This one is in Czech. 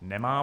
Nemá.